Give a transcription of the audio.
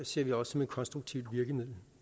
ser vi også som et konstruktivt virkemiddel